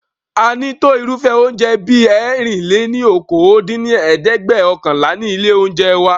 A ní tó irúfẹ́ oúnjẹ bí ẹ̀rin-lé-ní-okòó dín ní ẹ̀ẹ́dẹ́gbẹ́ọ̀kànlá ní ilé oúnjẹ wa